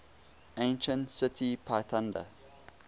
ancient city pithunda